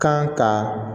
Kan ka